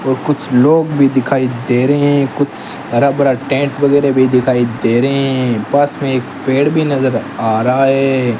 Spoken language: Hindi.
और कुछ लोग भी दिखाई दे रहे हैं कुछ हरा भरा टेंट वगैरा भी दिखाई दे रहे हैं पास में एक पेड़ भी नजर आ रहा है।